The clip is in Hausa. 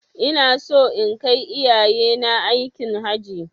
Ina so in kai iyayena aikin Hajji